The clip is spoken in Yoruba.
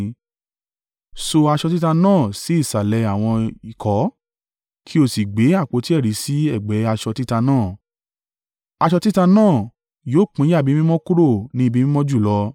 Ṣo aṣọ títa náà sí ìsàlẹ̀ àwọn ìkọ́, kí o sì gbé àpótí ẹ̀rí sí ẹ̀gbẹ́ aṣọ títa náà. Aṣọ títa náà yóò pínyà Ibi Mímọ́ kúrò ní Ibi Mímọ́ Jùlọ.